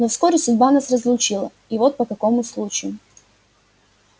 но вскоре судьба нас разлучила и вот по какому случаю